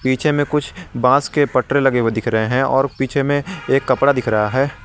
पीछे में कुछ बांस के पटरे लगे हुए दिख रहे हैं और पीछे में एक कपड़ा दिख रहा है।